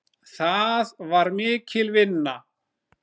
Það var mikil vinna.